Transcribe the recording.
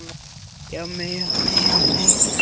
Ummál hægra læris var merkjanlega minna en þess vinstra.